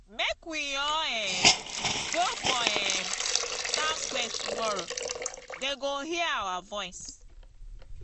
make we all um go for um town square tomorrow dey go hear our voice.